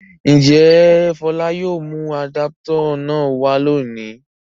Ǹjẹ́ Fọlá yóò mú àdápútọ̀ náà wá lónìí?